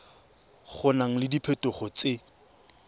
go na le diphetogo tse